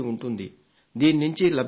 దీని నుండి లబ్ధిని పొందండి